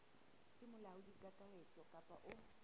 ke molaodi kakaretso kapa o